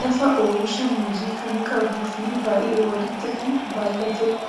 Lafa oomisha Muuzii kan qabuu fi baay'ee walitti kan baay'ateedha.